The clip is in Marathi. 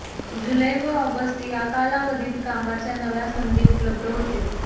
जुलै व ऑगस्ट या कालावधीत कामाच्या नव्या संधी उपलब्ध होतील